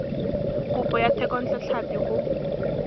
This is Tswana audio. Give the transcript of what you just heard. kopo ya thekontle tlhapi go